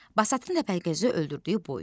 Basatın Təpəgözü öldürdüyü boy.